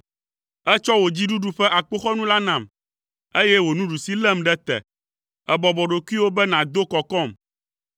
Ètsɔ wò dziɖuɖu ƒe akpoxɔnu la nam, eye wò nuɖusi lém ɖe te. Èbɔbɔ ɖokuiwò be nàdo kɔkɔm.